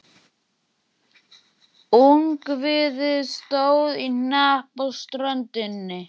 Ungviðið stóð í hnapp á ströndinni.